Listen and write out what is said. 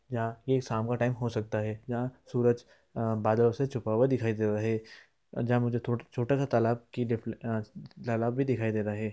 यहाँ ये शाम का टाइम हो सकता है| यहाँ सूरज अ बादलों से छुपा हुआ दिखाई दे रहा है जहाँ मुझे तो छोटा-सा तलाब की अ तालाब भी दिखाई दे रहा है ।